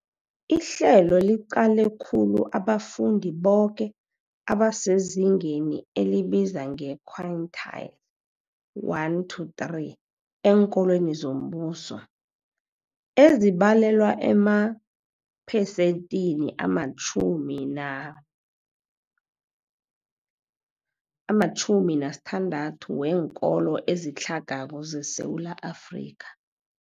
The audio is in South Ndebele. Ihlelo liqale khulu abafundi boke abasezingeni elibizwa nge-quintile 1-3 eenkolweni zombuso, ezibalelwa emaphesenthini ama-6 ama-60 weenkolo ezitlhagako zeSewula Afrika.